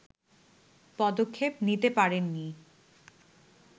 পদক্ষেপ নিতে পারেননি